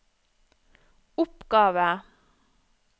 oppgave